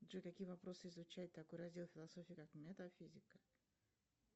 джой какие вопросы изучает такой раздел философии как метафизика